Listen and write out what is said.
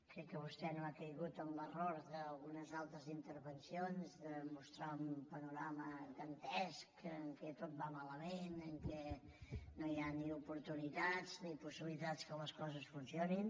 crec que vostè no ha caigut en l’error d’algunes altres intervencions de mostrar un panorama dantesc en què tot va malament en què no hi ha ni oportunitats ni possibilitats que les coses fun·cionin